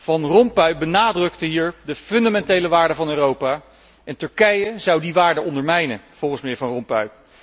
Van Rompuy benadrukte hier de fundamentele waarden van Europa, en Turkije zou die waarden ondermijnen, volgens mijnheer Van Rompuy.